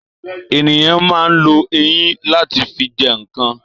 Ènìyàn ma ń lo eyín láti fi jẹ ǹkan